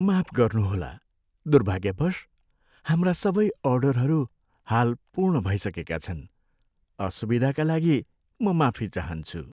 माफ गर्नुहोला, दुर्भाग्यवश, हाम्रा सबै अर्डरहरू हाल पूर्ण भइसकेका छन्। असुविधाका लागि म माफी चाहन्छु।